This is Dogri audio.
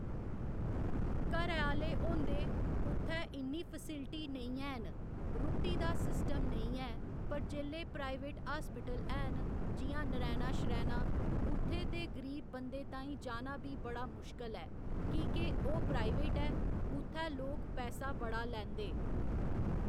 घरै आह्‌ले होंदे उत्थै इ'न्नी फैस्लिटी नेईं है'न रुट्टी दा सिस्टम नेईं ऐ पर जेल्लै प्राईवेट हास्पिटल है'न जि'यां नरायणा शरैणा उत्थै ते गरीब बंदें ताहीं जाना बी बड़ा मुश्कल ऐ की के ओह् प्राईवेट ऐ उत्थै लोक पैसा बड़ा लैंदे